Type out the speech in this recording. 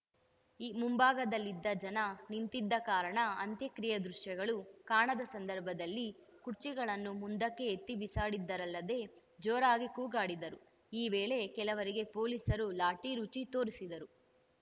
ಮುಂಭಾಗದಲ್ಲಿದ್ದ ಜನ ನಿಂತಿದ್ದ ಕಾರಣ ಅಂತ್ಯಕ್ರಿಯೆ ದೃಶ್ಯಗಳು ಕಾಣದ ಸಂದರ್ಭದಲ್ಲಿ ಕುರ್ಚಿಗಳನ್ನು ಮುಂದಕ್ಕೆ ಎತ್ತಿ ಬಿಸಾಡಿದರಲ್ಲದೆ ಜೋರಾಗಿ ಕೂಗಾಡಿದರು ಈ ವೇಳೆ ಕೆಲವರಿಗೆ ಪೊಲೀಸರು ಲಾಠಿ ರುಚಿ ತೋರಿಸಿದರು